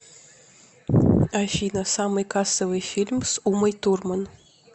афина самый кассовый фильм с умой турман